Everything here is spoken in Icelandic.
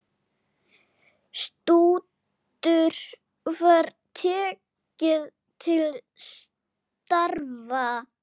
Stútur var tekið til starfa!